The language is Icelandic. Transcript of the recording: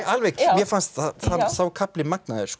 mér fannst sá kafli magnaður